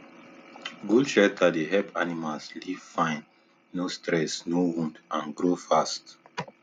good shelter dey help animals live fine no stress no wound and grow fast